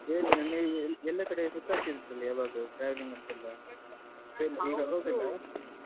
ಏನು ಎಲ್ಲಾ ಕಡೆ ಸುತ್ತಾಡ್ತಾ ಇರ್ತೀರಲ್ಲ ಯಾವಾಗಲೂ traveling ಅಂತ ಎಲ್ಲಾ ಏನ್ ಇವಾಗ ಹೋಗಲ್ವಾ?